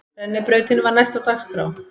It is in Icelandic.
Rennibrautin var næst á dagskrá.